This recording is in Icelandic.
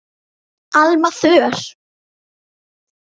Alma Þöll.